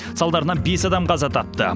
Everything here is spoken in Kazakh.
салдарынан бес адам қаза тапты